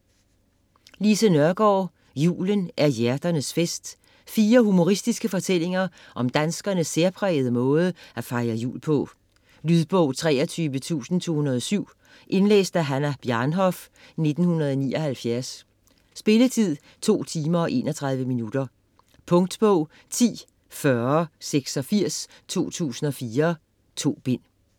Nørgaard, Lise: Julen er hjerternes fest Fire humoristiske fortællinger om danskernes særprægede måde at fejre jul på. Lydbog 23207 Indlæst af Hannah Bjarnhof, 1979. Spilletid: 2 timer, 31 minutter. Punktbog 104086 2004.2 bind.